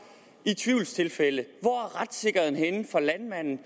i tvivlstilfælde hvor er retssikkerheden henne for landmanden